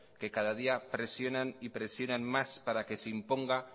que cada día presionan y presionan más para que se imponga